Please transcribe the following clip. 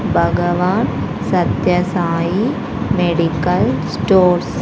Bhagavan Sathya Sai medical stores.